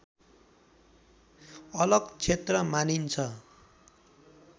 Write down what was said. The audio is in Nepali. अलग क्षेत्र मानिन्छ